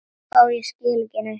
Og ég skil ekki neitt.